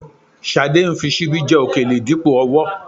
Ṣadé ń fi ṣíbí jẹ òkèlè dípò ọwọ́